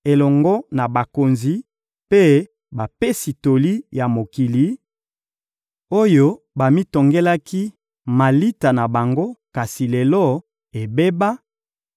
elongo na bakonzi mpe bapesi toli ya mokili, oyo bamitongelaki malita na bango kasi lelo ebeba,